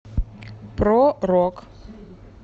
про рок